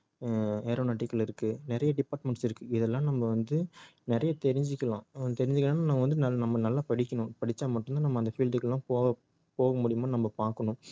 ஆஹ் aeronautical இருக்கு நிறைய departments இருக்கு இதெல்லாம் நம்ம வந்து நிறைய தெரிஞ்சிக்கணும் ஹம் தெரிஞ்சுக்கணும்னா நம்ம வந்து நல்~ நம்ம நல்லா படிக்கணும் படிச்சா மட்டும் தான் நம்ம அந்த field க்குலாம் போக முடியுமான்னு நம்ம பாக்கணும்